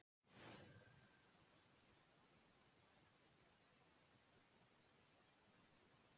Kaup vinnuhjúa var samt það lágt að þau gátu engan veginn séð afkomendum sínum farborða.